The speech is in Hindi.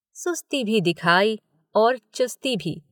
सुस्ती भी दिखाई और चुस्ती भी।